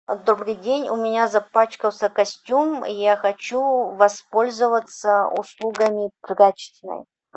добрый день у меня запачкался костюм и я хочу воспользоваться услугами прачечной